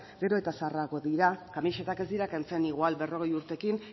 gero eta zaharragoak dira kamisetak ez dira kentzen igual berrogei urterekin